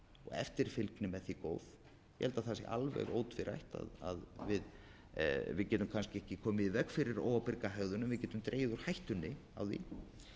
eftirfylgni með því góða ég held að það sé alveg ótvírætt að við getum kannski ekki komið í veg fyrir óábyrga hegðun en við getum dregið úr hættunni á því um